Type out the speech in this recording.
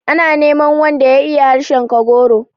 Ana neman wanda ya iya harshen Kagoro.